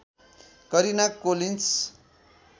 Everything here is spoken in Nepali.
Karina Collins